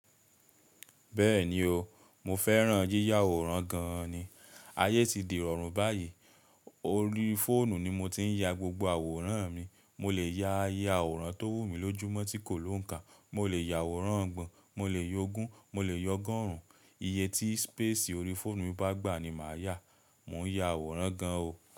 Bẹ́ẹ̀ni o, mo fẹ́ràn yíyá àwòrán gan ni. Ayé ti di rọrùn báyìí. Orí fóònù ni mo ti ń ya gbogbo àwòrán mi. Mo lè ya àwòrán tó wù mí lójúmọ́ tí kò lóǹkà, mo lè ya àwòrán ọ̀gbọn, mo lè ya ogún, mo lè ya ọgọ́rùn. Iye tí spésìì orí fóònù mi bá gbà ni màá yà. Mò ń ya àwòrán gan o.